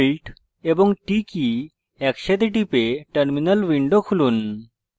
টিপে terminal window খুলুন